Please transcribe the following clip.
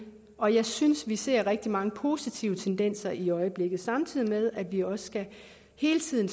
og jeg synes at vi ser rigtig mange positive tendenser i øjeblikket samtidig med at vi også hele tiden